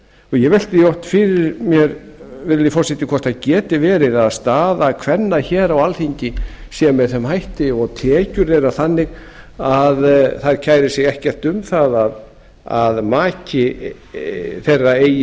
ég velti því oft fyrir mér virðulegi forseti hvort það geti verið að staða kvenna hér á alþingi sé með þeim hætti og tekjur þeirra þannig að þær kæri sig ekkert um það að maki þeirra